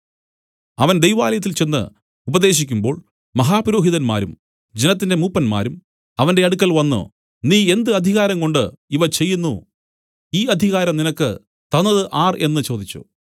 അവൻ ദൈവാലയത്തിൽ ചെന്ന് ഉപദേശിക്കുമ്പോൾ മഹാപുരോഹിതന്മാരും ജനത്തിന്റെ മൂപ്പന്മാരും അവന്റെ അടുക്കൽ വന്നു നീ എന്ത് അധികാരംകൊണ്ട് ഇവ ചെയ്യുന്നു ഈ അധികാരം നിനക്ക് തന്നതു ആർ എന്നു ചോദിച്ചു